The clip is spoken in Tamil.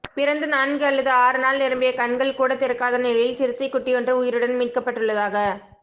பிறந்து நான்கு அல்லது ஆறு நாள் நிரம்பிய கண்கள் கூட திறக்காத நிலையில் சிறுத்தை குட்டியொன்று உயிருடன் மீட்கப்பட்டுள்ளதாக